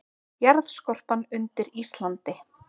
Jarðskorpan undir Íslandi